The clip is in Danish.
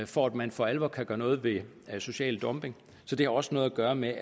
for at man for alvor kan gøre noget ved social dumping så det har også noget at gøre med